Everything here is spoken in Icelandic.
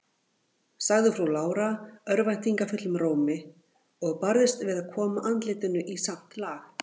sagði frú Lára örvæntingarfullum rómi, og barðist við að koma andlitinu í samt lag.